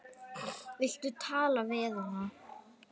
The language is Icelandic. Viltu tala við hana?